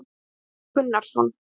Guðjón Gunnarsson